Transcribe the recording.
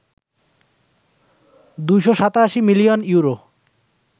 ২৮৭ million euro